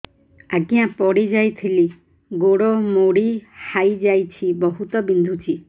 ଆଜ୍ଞା ପଡିଯାଇଥିଲି ଗୋଡ଼ ମୋଡ଼ି ହାଇଯାଇଛି ବହୁତ ବିନ୍ଧୁଛି